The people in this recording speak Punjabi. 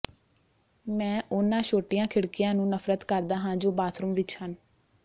ਮੈਂ ਉਨ੍ਹਾਂ ਛੋਟੀਆਂ ਖਿੜਕੀਆਂ ਨੂੰ ਨਫ਼ਰਤ ਕਰਦਾ ਹਾਂ ਜੋ ਬਾਥਰੂਮ ਵਿੱਚ ਹਨ